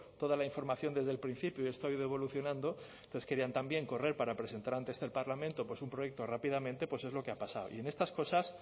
toda la información desde el principio y esto ha ido evolucionando entonces querían también correr para presentar ante este parlamento un proyecto rápidamente pues es lo que ha pasado y en estas cosas